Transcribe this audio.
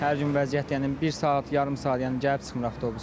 Hər gün vəziyyət, yəni bir saat, yarım saat, yəni gəlib çıxmır avtobus.